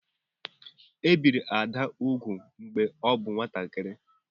E biri Ada úgwù mgbe ọ bụ nwatakịrị.